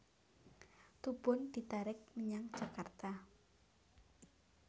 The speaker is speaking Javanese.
Tubun ditarik menyang Jakarta